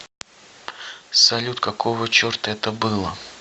салют какого черта это было